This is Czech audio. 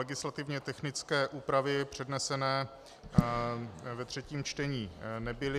Legislativně technické úpravy přednesené ve třetím čtení nebyly.